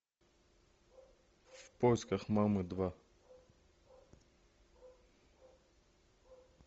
в поисках мамы два